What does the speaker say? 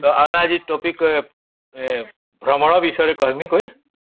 ତା ଆମେ ଆଜି topic କହିବା ଭ୍ରମଣ ବିଷୟରେ କହିବି କହି